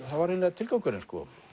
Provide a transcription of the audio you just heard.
það var eiginlega tilgangurinn